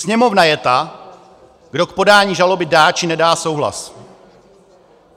Sněmovna je ta, kdo k podání žaloby dá, či nedá souhlas.